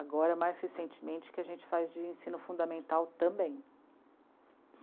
Agora, mais recentemente, que a gente faz de ensino fundamental também.